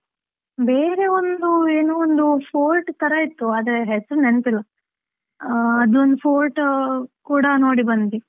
ಬೇರೆ ಒಂದು ಏನೋ ಒಂದು fort ತರ ಇತ್ತು ಆದ್ರೆ ಹೆಸರು ನೆನಪಿಲ್ಲ, ಅದೊಂದು fort ಕೂಡ ನೋಡಿ ಬಂದ್ವಿ.